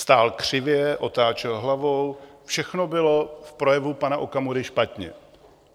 Stál křivě, otáčel hlavou, všechno bylo v projevu pana Okamury špatně.